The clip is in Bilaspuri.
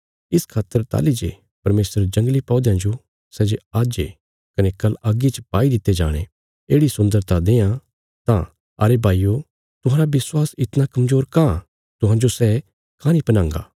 इस खातर ताहली जे परमेशर जंगली पौध्यां जो सै जे आज्ज ये कने कल अग्गी च पाई दित्ते जाणे येढ़ि सुन्दरता देआं तां अरे भाईयो तुहांरा विश्वास इतणा कमजोर काँह तुहांजो सै काँह नीं पैहनांगा